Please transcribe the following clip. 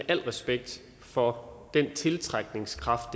al respekt for den tiltrækningskraft